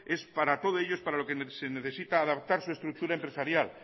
es para todo ello para lo que se necesita adaptar su estructura empresarial